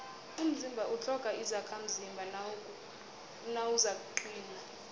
umzimba utlhoga izakhamzimba nawuzakuqina